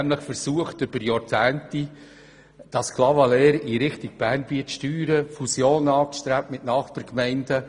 Während Jahrzehnten haben sie eine Fusion mit Nachbargemeinden angestrebt und versucht, Clavaleyres in Richtung Bernbiet zu steuern.